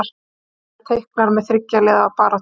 Hlynur reiknar með þriggja liða baráttu